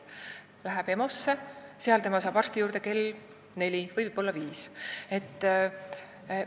Aga kui ta läheb EMO-sse, siis seal ta saab arsti juurde alles kell neli, võib-olla isegi kell viis.